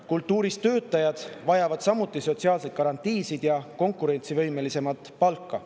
Kultuuritöötajad vajavad samuti sotsiaalseid garantiisid ja konkurentsivõimelisemat palka.